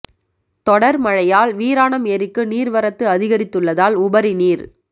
தொடா் மழையால் வீராணம் ஏரிக்கு நீா் வரத்து அதிகரித்துள்ளதால் உபரி நீா்